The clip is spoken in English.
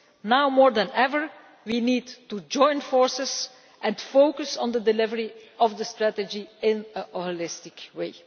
Now more than ever we need to join forces and focus on the delivery of the strategy in a holistic way.